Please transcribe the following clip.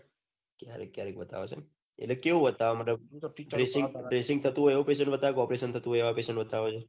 ક્યારેક ક્યારેક બતાવે છે એટલે કેવું બતાવે એમ dressing થતું હોય એવું કે operaion થતું હોય એવું એના patient બતાવે છે